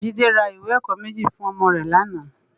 Jide rá iwé èkò méji fún òmò rè làná